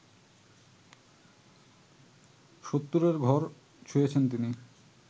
সত্তরের ঘর ছুঁয়েছেন তিনি